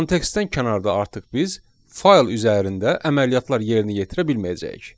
Kontekstdən kənarda artıq biz fayl üzərində əməliyyatlar yerinə yetirə bilməyəcəyik.